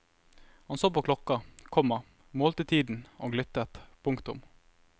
Han så på klokka, komma målte tiden og lyttet. punktum